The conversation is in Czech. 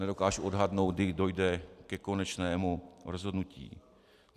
Nedokážu odhadnout, kdy dojde ke konečnému rozhodnutí.